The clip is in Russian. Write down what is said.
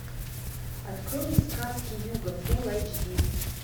открой мне сказки юга фул айч ди